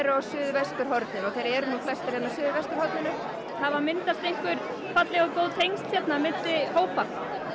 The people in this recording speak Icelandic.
á suðvesturhorninu og þeir eru flestir á suðvesturhorninu hafa myndast einhver falleg og góð tengsl hérna á milli hópa